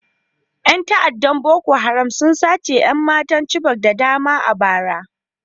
Yan ta'addar Boko Haram sun sace 'yan matan Chibok da dama a bara